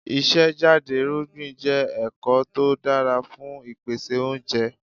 Ìṣe jáde irúgbìn jẹ́ ẹ̀kọ́ tó dára fún ìpèsè oúnjẹ.